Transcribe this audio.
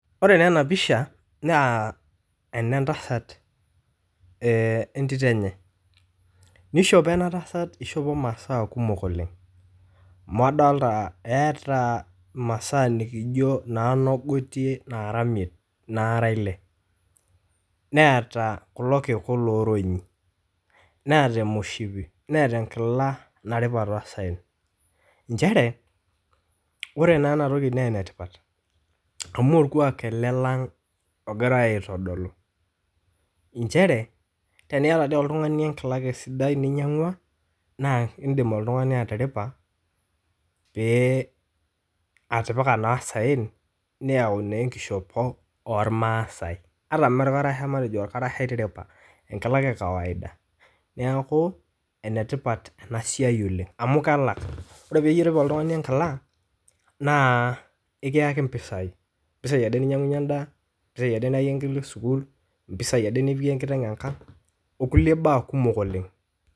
Ore taa ena pisha naa ene ntasat wentito enye , nishopo ena tasat , ishopo maasaa kumok oleng' amu adolta eeta imasaa nikijo noo ng'oitie nara imiet, nara ile , neeta kulo kiku loronyi , neeta emoshipi , neeta enkila naripa tosaen . Nchere ore naa ena toki naa ene tipat amu orkwa ele lang' egirae aitodolu nchere teniata dii oltung'ani enkila ake sidai ninyiangwa naa indip oltung'ani atiripa , pee atipika naa saen , neyau naa enkishop ormaasae, ata me orkarasha etiripa ,enkila ake e kawaida. Neeku ene tipat ena siai oleng' amu kalak , ore pirip oltung'ani enkila naa ekiyaki mpisai, mpisai ade ninyiang'unyie endaa , mpisai ade niyayie enkerai sukuul, impisai ade nipikie enkiteng enkang', okulie baa kumok oleng'.